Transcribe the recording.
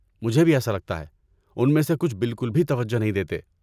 مجھے بھی ایسا لگتا ہے، ان میں سے کچھ بالکل بھی توجہ نہیں دیتے۔